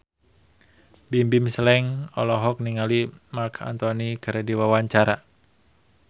Bimbim Slank olohok ningali Marc Anthony keur diwawancara